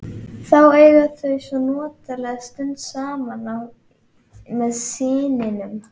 Þá eiga þau svo notalega stund saman með syninum.